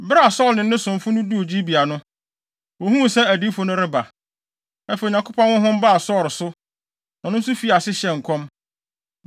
Bere a Saulo ne ne somfo no duu Gibea no, wohuu sɛ adiyifo no reba. Afei Onyankopɔn honhom baa Saulo so, na ɔno nso fii ase hyɛɛ nkɔm.